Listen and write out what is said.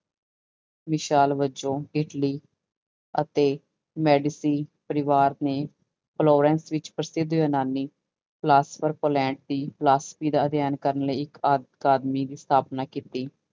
ਮਿਸਾਲ ਵਜੋਂ ਇਟਲੀ ਅਤੇ ਮੈਡਸੀ ਪਰਿਵਾਰ ਨੇ ਫਿਲੋਂਰਸ ਵਿੱਚ ਪ੍ਰਸਿੱਧ ਯੂਨਾਨੀ ਕਲਾਸਫ਼ਰ ਦੀ ਫਲਾਸਫੀ ਦਾ ਅਧਿਐਨ ਕਰਨ ਲਈ ਇੱਕ ਅਕਾਦਮਿਕ ਸਥਾਪਨਾ ਕੀਤੀ।